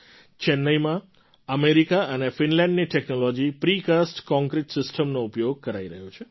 ચેન્નાઇમાં અમેરિકા અને ફિનલેન્ડની ટૅક્નૉલૉજી પ્રિ કાસ્ટ કૉન્ક્રિટ સિસ્ટમનો ઉપયોગ કરાઈ રહ્યો છે